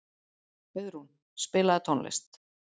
Auðrún, spilaðu tónlist.